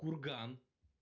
курган